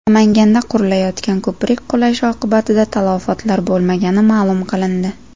Namanganda qurilayotgan ko‘prik qulashi oqibatida talafotlar bo‘lmagani ma’lum qilindi.